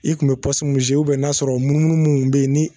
I kun be pɔsu mun ubiyɛn n'a y'a sɔrɔ munnumunnu mun be yen